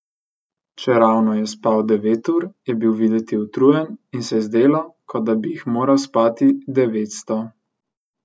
Čeravno je spal devet ur, je bil videti utrujen in se je zdelo, kot da bi jih moral spati devetsto.